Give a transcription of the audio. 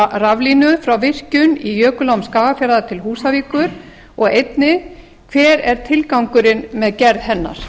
raflínu frá virkjun í jökulám skagafjarðar til húsavíkur ef svo er hver var tilgangurinn með gerð hennar